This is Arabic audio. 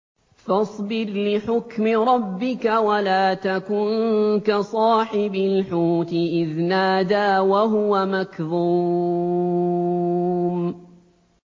فَاصْبِرْ لِحُكْمِ رَبِّكَ وَلَا تَكُن كَصَاحِبِ الْحُوتِ إِذْ نَادَىٰ وَهُوَ مَكْظُومٌ